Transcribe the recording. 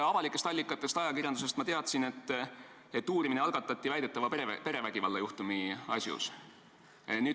Avalikest allikatest ehk ajakirjandusest ma teadsin, et uurimine algatati väidetava perevägivalla juhtumi asjus.